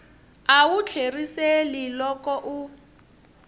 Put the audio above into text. a wu tlheriseli loko u